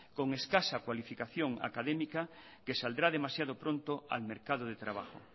con escasa cualificación académica que saldrá demasiado pronto al mercado de trabajo